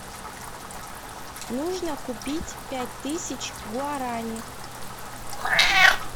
нужно купить пять тысяч гуарани